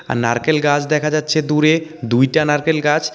আর নারকেল গাছ দেখা যাচ্ছে দূরে দুইটা নারকেল গাছ.